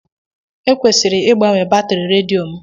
Ekwesịrị ịgbanwe batrị redio m.